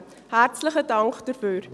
Herzlichen Dank dafür.